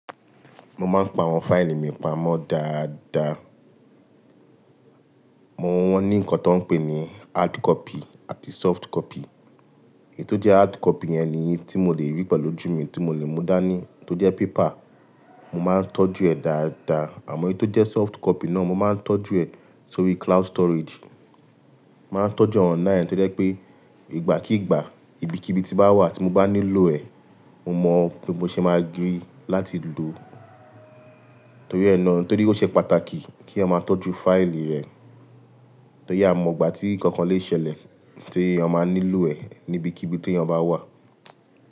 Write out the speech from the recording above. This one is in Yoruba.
Mo máa ń pa àwọn fáìlì mi pamọ́ dáadáa. Wọ́n ní nǹkan tó ń pè ní hard copy àti soft copy. Èyí tó jẹ́ hard copy yẹn ni èyí tí mo lè rí pẹ̀lú ojú mi, tí mo lè mú dá ní, tó jẹ́ paper. Mo máa ń tọ́jú ẹ̀ dáadáa. Àmọ́ èyí tó jẹ́ soft copy náà, mo máa ń tọ́jú ẹ̀ sórí cloud storage. Máa ń tọ́jú awọn ina tó jẹ́ pé ìgbà kíìgbà, ibikíbi tí màá wà tí mo bá nílò ẹ, mo mọ pé mo ṣe máa gbìrí láti lò ó. Nítorí ó ṣe pàtàkì kí eeyan máa tọ́jú fáìlì rẹ, torí a mọ ìgbà tí nkankan lè ṣẹlẹ̀ tí a máa nílò ẹ̀ ní ibikíbi tí eeyan bá wà.